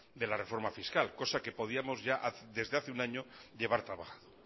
de la reforma fiscal cosa que podíamos ya desde hace un año llevar trabajado